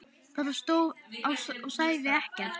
Bara stóð og sagði ekkert.